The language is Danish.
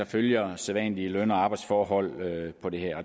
følger sædvanlige løn og arbejdsforhold